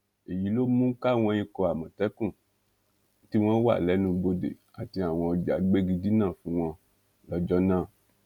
èyí ló mú káwọn ikọ amọtẹkùn tí wọn wà lẹnubodè àti àwọn ọjà gbégi dínà fún wọn lọjọ náà